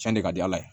Cɛn de ka di ala ye